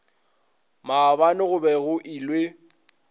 maabane go be go ilwe